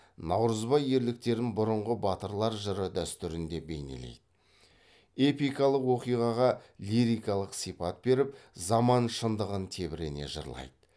наурызбай ерліктерін бұрынғы батырлар жыры дәстүрінде бейнелейді эпикалық оқиғаға лирикалық сипат беріп заман шындығын тебірене жырлайды